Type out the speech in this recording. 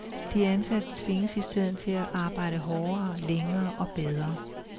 De ansatte tvinges i stedet til at arbejde hårdere, længere og bedre.